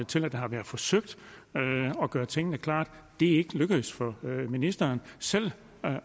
til at det har været forsøgt at gøre tingene klare det er ikke lykkedes for ministeren selv